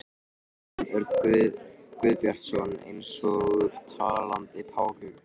Jón Örn Guðbjartsson: Eins og talandi páfagaukar?